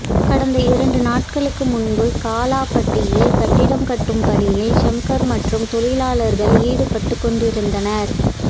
கடந்த இரண்டு நாட்களுக்கு முன்பு காலாப்பட்டில் கட்டிடம் கட்டும் பணியில் சங்கர் மற்றும் தொழிலாளர்கள் ஈடுபட்டுக்கொண்டிருந்தனர்